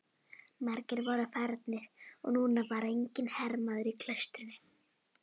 Margir voru farnir og núna var enginn hermaður í klaustrinu.